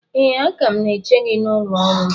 Ee, a ka m na-eche gị n’ụlọ ọrụ m